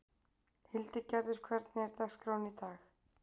Hildigerður, hvernig er dagskráin í dag?